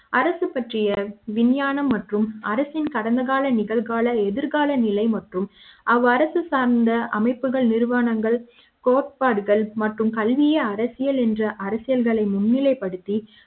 அரசு பற்றிய விஞ்ஞான ம் மற்றும் அரசின் கடந்தகால நிகழ்கால எதிர்கால நிலை மற்றும் அவ்அரசு சார்ந்த அமைப்புகள் நிறுவனங்கள் கோட்பாடுகள் மற்றும் கல்வியை அரசியல் என்று அரசியல்களை முன்னிலைப்படுத்தி